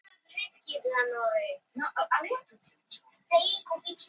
ein tegund eitilfrumukrabbameins í maga er dæmi um slíkt